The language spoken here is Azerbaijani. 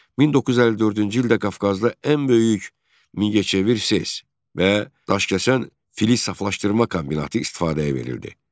1954-cü ildə Qafqazda ən böyük Mingəçevir SES və Daşkəsən filiz saflaşdırma kombinatı istifadəyə verildi.